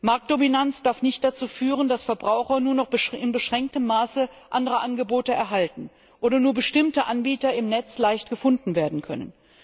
Marktdominanz darf nicht dazu führen, dass Verbraucher nur noch in beschränktem Maße andere Angebote erhalten oder nur bestimmte Anbieter im Netz leicht gefunden werden können.